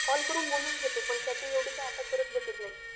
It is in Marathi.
कॉल करून बोलून च देतो पण चॅटिंग काय येवढी आता करत बसत नाही